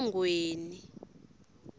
emangweni